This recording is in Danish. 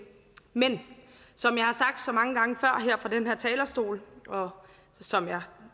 men som jeg har sagt så mange gange her fra den her talerstol og som jeg